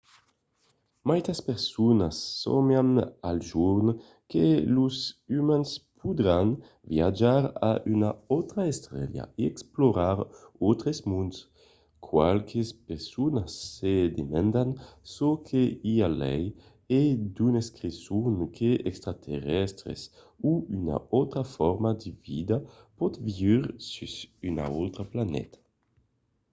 maitas personas sòmian al jorn que los umans podràn viatjar a una autra estela e explorar d'autres monds qualques personas se demandan çò que i a lai e d'unes creson que d'extraterrèstres o una autra forma de vida pòt viure sus una autra planeta